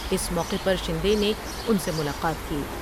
اس موقع پر شندے نے ان سے ملاقات کی ۔